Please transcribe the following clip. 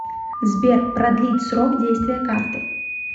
сбер продлить срок действия карты